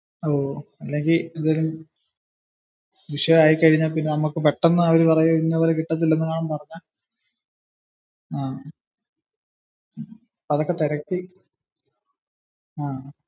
അല്ലെങ്കിൽ എന്തേലും വിഷയം ആയി കഴിഞ്ഞാൽ നമ്മുക്ക് പെട്ടന് അവർ പറയുന്നപോലെ കിട്ടത്തില്ല എന്ന് എല്ലാതും പറഞ്ഞാൽ. അപ്പോ അതൊക്കെ തിരക്കി